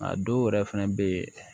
A dɔw yɛrɛ fɛnɛ bɛ ye